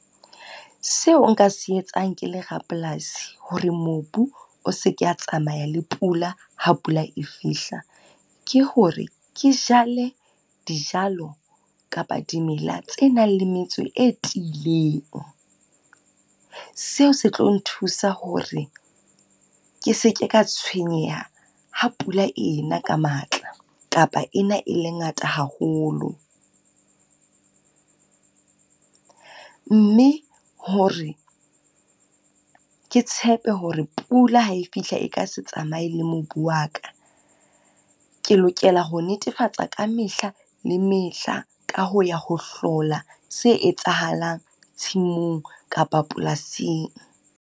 Seo nka se etsang ke le rapolasi hore mobu o se ke a tsamaya le pula ha pula e fihla, ke hore ke jale dijalo kapa dimela tse nang le metso e tiileng. Seo se tlo nthusa hore ke se ke ka tshwenyeha ha pula e na ka matla, kapa e na e le ngata haholo. Mme hore ke tshepe hore pula ha e fihla e ka se tsamaye le mobu wa ka, ke lokela ho netefatsa ka mehla le mehla ka ho ya ho hlola se etsahalang tshimong kapa polasing.